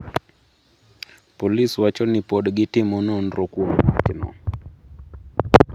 Polis wacho ni pod gitimo nonro kuom wachno.